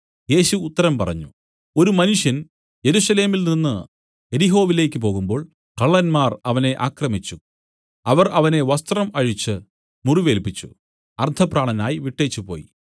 യേശു ഉത്തരം പറഞ്ഞത് ഒരു മനുഷ്യൻ യെരൂശലേമിൽ നിന്നു യെരിഹോവിലേക്കു പോകുമ്പോൾ കള്ളന്മാർ അവനെ ആക്രമിച്ചു അവർ അവനെ വസ്ത്രം അഴിച്ച് മുറിവേല്പിച്ചു അർദ്ധപ്രാണനായി വിട്ടേച്ചു പോയി